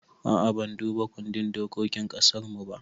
A'a ban duba kundin dokokin ƙasarmu ba